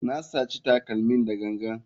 Na saci takalmin da gangan.